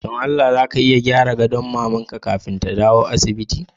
Don Allah za ka iya gyara gadon maman ka kafin ta dawo daga asibiti?